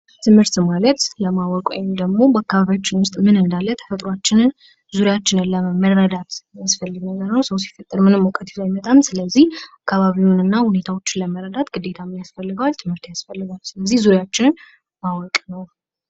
ትምህርት ማለት ለማወቅ ወይም ደግሞ አካባቢያችን ዉስጥ ምን እንዳለ ተፈጥሯችንን ዙሪያችንን መረዳት የሚያስፈልግ ሰው ሲፈጠር ምንም ይዞ አይመጣም ስለዚህ አካባቢውንና ሁኔታዎችን ለመረዳት ግዴታ ምን ያስፈልገዋል ትምህርት ያስፈልገዋል። ዙሪያችን ማወቅ ነው።